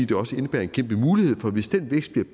det også indebærer en kæmpe mulighed for hvis den vækst bliver